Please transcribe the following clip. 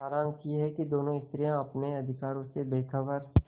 सारांश यह कि दोनों स्त्रियॉँ अपने अधिकारों से बेखबर